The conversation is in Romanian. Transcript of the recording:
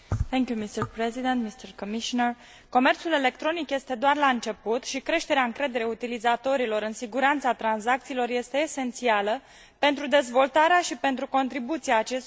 Comerțul electronic este doar la început și creșterea încrederii utilizatorilor în siguranța tranzacțiilor este esențială pentru dezvoltarea și pentru contribuția acestuia la o mai bună realizare a pieței interne.